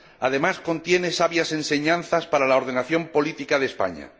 Además, contiene sabias enseñanzas para la ordenación política de España.